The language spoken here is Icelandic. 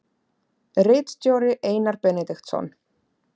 Ritstjóri Einar Benediktsson.